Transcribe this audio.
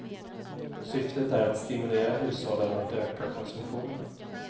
Syftet är att stimulera hushållen att öka konsumtionen.